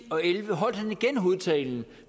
og elleve holdt han igen hovedtalen